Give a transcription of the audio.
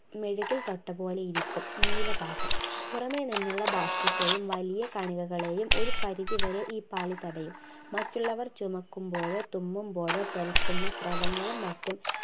മെഴുകിൽ തൊട്ടപോലിരിക്കും നീല ഭാഗം പുറമെ നിന്നുള്ള ബാഷ്പത്തെയും വലിയ കണികകളെയും ഒരു പരിധി വരെ ഈ പാളി തടയും മറ്റുള്ളവർ ചുമയ്ക്കുമ്പോഴോ തുമ്മുമ്പോഴോ തെറിക്കുന്ന സ്രവങ്ങളും മറ്റും